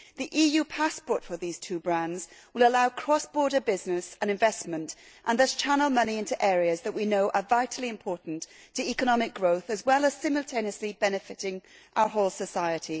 The EU passport for these two brands will allow cross border business and investment and thus channel money into areas that we know are vitally important to economic growth as well as simultaneously benefiting our whole society.